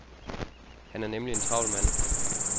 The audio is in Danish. Han er nemlig en travl mand.